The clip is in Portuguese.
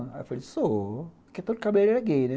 Eu falei, sou, porque todo cabeleireiro é gay, né?